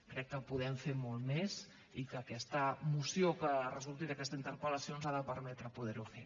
crec que podem fer molt més i que aquesta moció que resulti d’aquesta interpel·lació ens ha de permetre poder ho fer